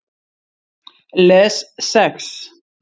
Les Sex